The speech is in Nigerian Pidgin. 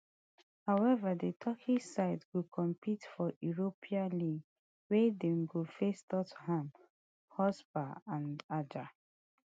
however di turkish side go compete for europan league wia dem go face and